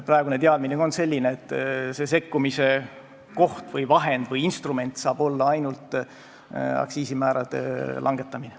Praegune teadmine on selline, et see sekkumise koht või vahend või instrument saab olla ainult aktsiisimäärade langetamine.